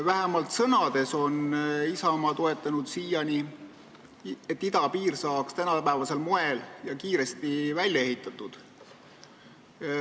Vähemalt sõnades on Isamaa siiani toetanud, et idapiir saaks tänapäevasel moel ja kiiresti välja ehitatud.